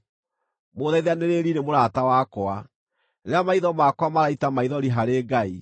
Mũũthaithanĩrĩri nĩ mũrata wakwa rĩrĩa maitho makwa maraita maithori harĩ Ngai;